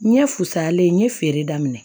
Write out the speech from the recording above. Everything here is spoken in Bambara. N ye fisayalen n ye feere daminɛ